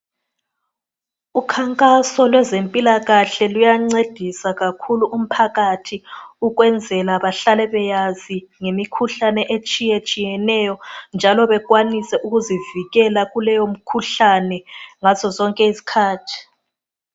Ukhankaso lwezempilakahle luyancedisa kakhulu umphakathi, ukwenzela bahlale beyazi ngemikhuhlane etshiyetshiyeneyo, njalo bekwanise ukuzivikela kuleyo mkhuhlane ngazozonke izikhathi.